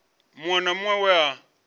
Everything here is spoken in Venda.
muṅwe na muṅwe we a